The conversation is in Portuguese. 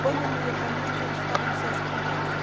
Quando eu não ia para Minas, a gente ficava no Sesc Campestre.